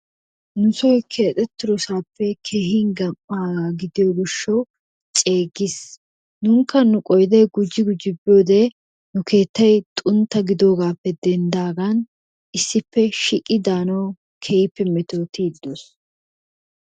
Nusoy keexeettidasappe keehin gam'aagaa gidiyo gishshawu ceeggiis. Nuukka nu qoydee gujji gujji biyode nu keettay xuntta giddoogaappe denddidaagan issippe shiiqi daanawu keehippe mettoottiidi doos.